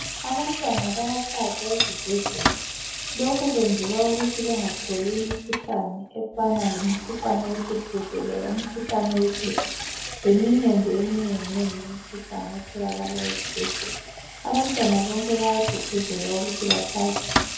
Abantwana bayahlatshwa ezibhedlela .Lokhu kwenzelwa ukuthi bengatholi imikhuhlane efana lemkhuhlane wesihudo loba umkhuhlane wophepha leminye nje eminengi nengi imikhuhlane etholakala ezibhedlela . Abantwana bonke bayagqugquzelwa ukuthi bahlatshwe .